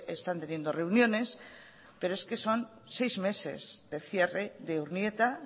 están teniendo reuniones pero es que son seis meses y medio de cierre de urnieta